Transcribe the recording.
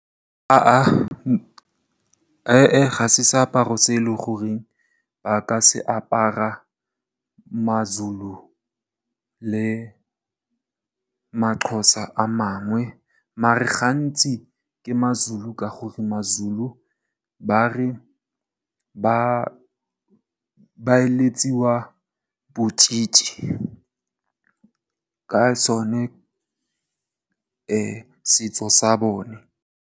Ha ah he eh, ga se seaparo se e leng gore ba ka se apara Mazulu le Maxhosa a mangwe. Maar gantsi, ke Mazulu ka gore Mazulu ba re ba eletswa botšhitšhi ka sone setso sa bone.